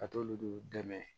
Ka t'olu dɛmɛ